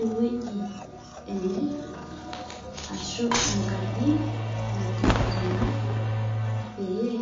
Eweji ene Ashu enkaji nateterenaki pee